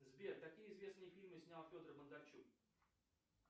сбер какие известные фильмы снял федор бондарчук